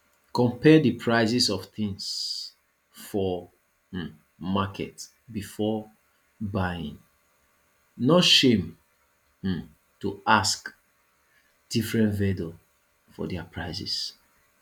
compare di prices of things for um market before buying no shame um to ask different vendors for their prices